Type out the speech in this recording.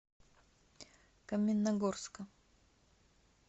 каменногорска